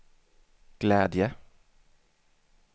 glädje